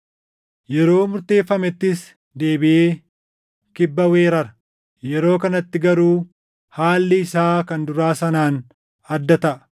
“Yeroo murteeffamettis deebiʼee Kibba weerara; yeroo kanatti garuu haalli isaa kan duraa sanaan adda taʼa.